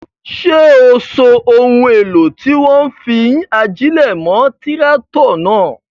Ṣé o so ohun èlò tí wọ́n fi ń ajílẹ̀ mọ́ tíráátọ̀ náà?